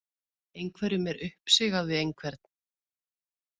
Einhverjum er uppsigað við einhvern